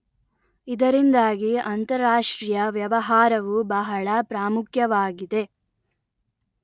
ಇದರಿಂದಾಗಿ ಅಂತರಾಷ್ಟ್ರೀಯ ವ್ಯವಹಾರವು ಬಹಳ ಪ್ರಾಮುಖ್ಯವಾಗಿದೆ